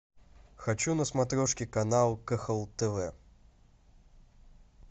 хочу на смотрешке канал кхл тв